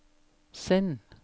send